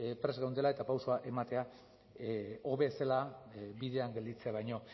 prest geundela eta pausoa ematea hobe zela bidean gelditzea baino